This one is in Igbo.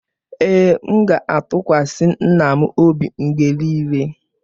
Ee, m ga-atụkwasị nna m obi mgbe niile.